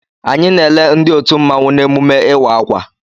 Anyị na-ele ndị otu mmanwụ n'emume ịwa akwa.